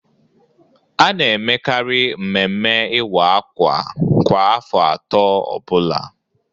A na-emekari mmemme iwa akwa kwa afọ atọ ọbụla.